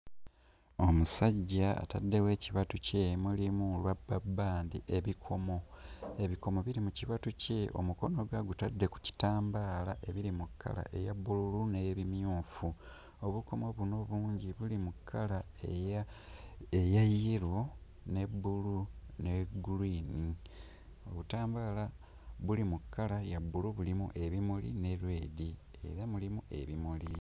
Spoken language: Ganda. Omusajja ataddewo ekibatu kye mulimu ruber band, ebikomo ebikomo biri mu kibatu kye omukono ng'agutadde mu kitambaala ebiri mu kkala eya bbululu n'ebimyufu. Obukomo buno bungi buli mu kkala eya yellow ne bbulu ne green, obutambaala buli mu kkala ya bbulu bulimu ebimuli ne red era mulimu ebimuli